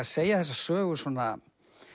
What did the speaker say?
segja þessa sögu svona